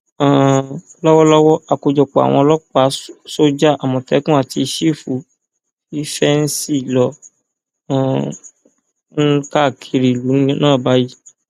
um lọwọlọwọ àkójọpọ àwọn ọlọpàá sójà àmọtẹkùn àti sífù fífẹǹsì ló um ń káàkiri ìlú náà báyìí